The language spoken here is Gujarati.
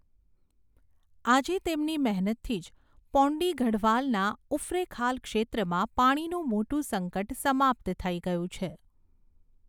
આજે તેમની મહેનતથી જ પૌંડી ગઢવાલના ઉફરૈંખાલ ક્ષેત્રમાં પાણીનું મોટું સંકટ સમાપ્ત થઈ ગયું છે.